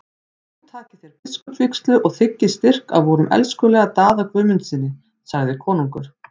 Nú takið þér biskupsvígslu og þiggið styrk af vorum elskulega Daða Guðmundssyni, sagði konungur.